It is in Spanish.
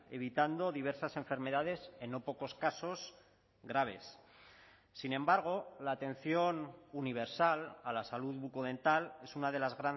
evitando diversas enfermedades en no pocos casos graves sin embargo la atención universal a la salud bucodental es una de las